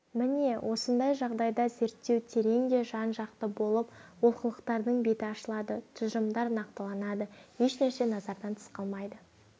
міне осындай жағдайда зерттеу терең де жан-жақты болып олқылықтардың беті ашылады тұжырымдар нақтыланады ешнәрсе назардан тыс қалмайды